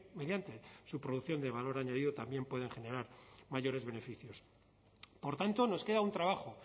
mediante su producción de valor añadido también pueden generar mayores beneficios por tanto nos queda un trabajo